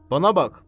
Bana bax.